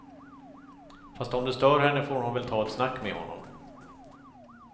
Fast om det stör henne får hon väl ta ett snack med honom.